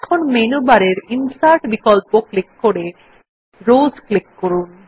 এখন মেনু বারের ইনসার্ট বিকল্প ক্লিক করে রোস ক্লিক করুন